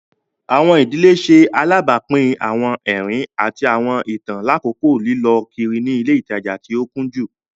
Awọn ìdílé ṣe alabapin awọn ẹrin ati awọn itan lakoko lilọ kiri ni ile itaja ti o kunju.